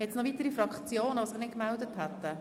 Zuerst hat Grossrat Wüthrich das Wort.